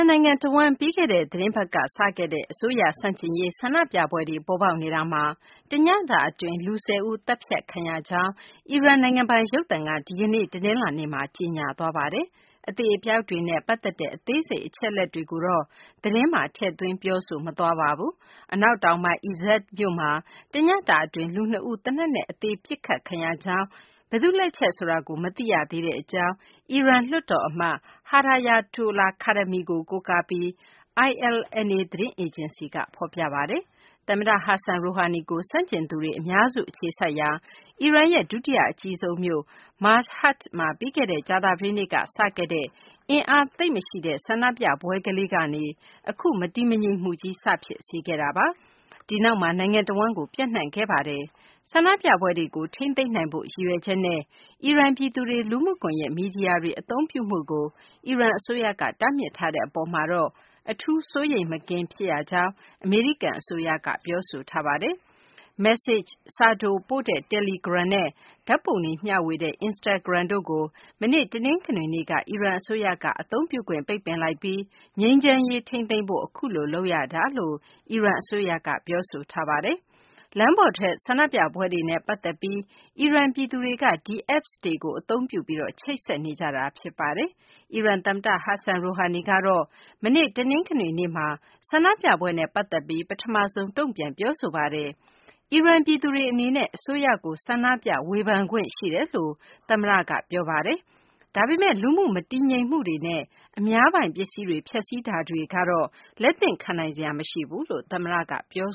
န်နိုင်ငံ တဝန်း ပြီးခဲ့တဲ့ သီတင်းပတ်က စခဲ့တဲ့ အစိုးရ ဆန့်ကျင်ရေး ဆန္ဒပြပွဲတွေ ပေါ်ပေါက်နေတာမှာ တညတာ အတွင်း လူ ၁၀ ဦး သတ်ဖြတ်ခံရကြောင်း အီရန် နိုင်ငံပိုင် ရုပ်သံက ဒီကနေ့ တနလာၤနေ့မှာ ကြေညာသွားပါတယ်။ အသေအပျောက်တွေနဲ့ ပတ်သက်တဲ့ အသေးစိတ် အချက်အလက်တွေကိုတော့ သတင်းမှာ ထည့်သွင်း ပြောဆိုမသွားပါဘူး။ အနောက်တောင်ပိုင်း Izeh မြို့မှာ တညတာ အတွင်း လူနှစ်ဦး သေနတ်နဲ့ အသေ ပစ်ခတ်ခံရကြောင်း၊ ဘယ်သူ့လက်ချက်ဆိုတာကို မသိရသေးတဲ့ အကြောင်း အီရန် လွှတ်တေ်ာအမတ် Hedayatollah Khademi ကို ကိုးကားပြီး ILNA သတင်းအေဂျင်စီက ဖော်ပြပါတယ်။ သမ္မတ Hassan Rouhani ကို ဆန့်ကျင်သူတွေ အများစု အခြေစိုက်ရာ အီရန်ရဲ့ ဒုတိယ အကြီးဆုံးမြို့ Mashhad မှာ ပြီးခဲ့တဲ့ ကြာသပတေးနေ့က စခဲ့တဲ့ အင်အားသိပ်မရှိတဲ့ ဆန္ဒပြပွဲလေးကနေ အခု မတည်မငြိမ်မှုကြီး စဖြစ်စေခဲ့တာပါ။ ဒီနောက်မှာ နိုင်ငံတဝန်းကို ပျံ့နှံ့ခဲ့တာပါ။ ဆန္ဒပြပွဲတွေကို ထိန်းသိမ်းနိုင်ဖို့ ရည်ရွယ်ချက်နဲ့ အီရန် ပြည်သူတွေ လူမှုကွန်ယက် မီဒီယာတွေ အသုံးပြုမှုကို အီရန် အစိုးရက တားမြစ်ထားတဲ့ အပေါ်မှာတော့ အထူး စိုးရိမ်မကင်း ဖြစ်ရကြောင်း အမေရိကန် အစိုးရက ပြောဆိုထားပါတယ်။ မက်ဆေချ့် စာတိုပို့တဲ့ တယ်လီဂရမ်နဲ့ ဓာတ်ပုံတွေ မျှဝေတဲ့ Instagram တို့ကို မနေ့ တနင်္ဂနွေနေ့က အီရန် အစိုးရက အသုံးပြုခွင့် ပိတ်ပင်လိုက်ပြီး ငြိမ်းချမ်းရေး ထိန်းသိမ်းဖို့ အခုလို လုပ်ရတာလို့ အီရန် အစိုးရက ပြောဆိုပါတယ်။ လမ်းပေါ်ထွက် ဆန္ဒပြပွဲတွေနဲ့ ပတ်သက်ပြီး အီရန် ပြည်သူတွေက ဒီ Apps တွေကို သုံးပြီး ချိတ်ဆက်ကြတာပါ။ အီရန် သမ္မတ Hassan Rouhani ကတော့ မနေ့ တနင်္ဂနွေနေ့မှာ ဆန္ဒပြပွဲနဲ့ ပတ်သက်ပြီး ပထမဆုံး တုံ့ပြန်ပြောဆိုပါတယ်။ အီရန် ပြည်သူတွေ အနေနဲ့ အစိုးရကို ဆန္ဒပြ ဝေဖန်ခွင့် ရှိတယ်လို့ သမ္မတ Rouhani က ပြောခဲ့တာပါ။ ဒါပေမယ့် လူမှုမတည်မငြိမ်မှုတွေနဲ့ အများပြည်သူပိုင် ပစ္စည်းတွေ ဖျက်စီးမှုတွေကတော့ လက်သင့်ခံနိုင်စရာ မရှိဘူးလို့ သမ္မတက ပြော